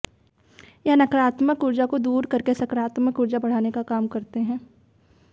यह नकारात्मक उर्जा को दूर करके सकारात्मक उर्जा को बढ़ाने का काम करते हैं